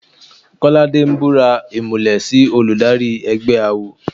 Kọ́ládé ń búra ìmùlẹ̀ sí olùdarí ẹgbẹ́ awo.